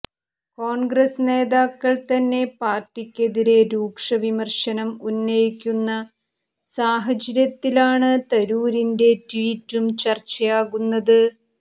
കോൺഗ്രസ് നേതാക്കൾ തന്നെ പാർട്ടിക്കെതിരെ രൂക്ഷവിമർശനം ഉന്നയിക്കുന്ന സാഹചര്യത്തിലാണ് തരൂരിന്റെ ട്വീറ്റും ചർച്ചയാകുന്നത്